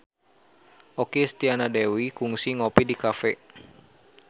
Okky Setiana Dewi kungsi ngopi di cafe